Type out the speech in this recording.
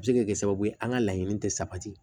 A bɛ se ka kɛ sababu ye an ka laɲini tɛ sabati